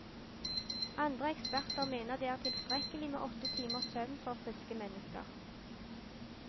Andre eksperter mener det er tilstrekkelig med åtte timers søvn for friske mennesker.